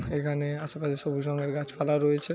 এখানে আশেপাশে সবুজ রঙের গাছপালা রয়েছে।